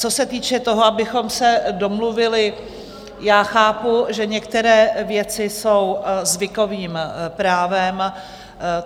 Co se týče toho, abychom se domluvili, já chápu, že některé věci jsou zvykovým právem.